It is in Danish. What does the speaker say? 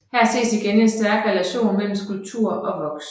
Her ses igen en stærk relation mellem skulptur og voks